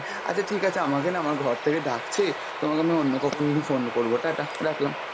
আচ্ছা ঠিক আছে আমাকে না আমার ঘর থেকে ডাকছে তোমাকে আমি অন্য কখনো যদি phone করবো, টাটা রাখলাম।